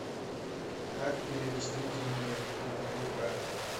как перевести деньги на другую карту